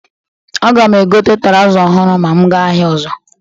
Aga m egote traụza ohụrụ ma m gaa ahịa ọzọ.